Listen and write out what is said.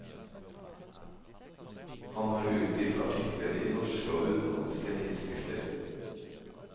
Han har utgitt artikler i norske og utenlandske tidsskrifter.